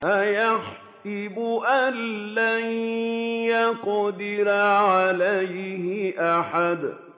أَيَحْسَبُ أَن لَّن يَقْدِرَ عَلَيْهِ أَحَدٌ